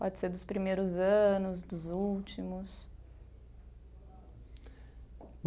Pode ser dos primeiros anos, dos últimos?